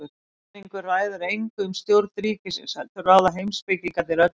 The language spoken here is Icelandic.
Almenningur ræður engu um stjórn ríkisins heldur ráða heimspekingarnir öllu.